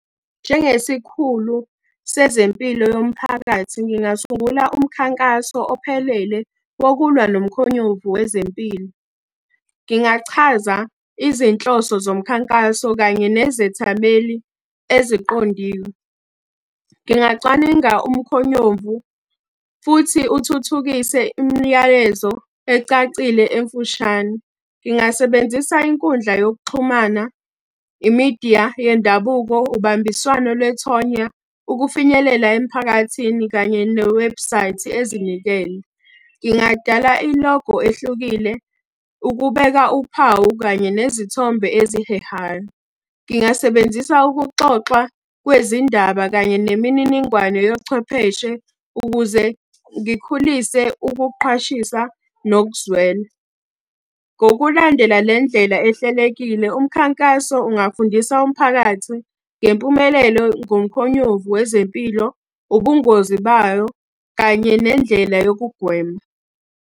Njengesikhulu sezempilo yomphakathi ngingasungula umkhankaso ophelele wokulwa nomkhonyovu wezempilo. Ngingachaza izinhloso zomkhankaso kanye nezethameli eziqondiwe. Ngingacwaninga umkhonyovu, futhi uthuthukise imiyalezo ecacile emfushane. Ngingasebenzisa inkundla yokuxhumana, imidiya yendabuko, ubambiswano lwethonya, ukufinyelela emphakathini kanye ne webhusayithi ezinikele. Ngingadala ilogo ehlukile ukubeka uphawu kanye nezithombe ezihehayo. Ngingasebenzisa ukuxoxwa kwezindaba kanye nemininingwane yochwepheshe ukuze ngikhulise ukuqhwashisa nokuzwela. Ngokulandela le ndlela ehlelekile, umkhankaso ungafundisa umphakathi ngempumelelo ngomkhonyovu wezempilo, ubungozi bayo, kanye nendlela yokugwema.